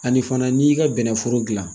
Ani fana n'i y'i ka bɛnɛforo dilan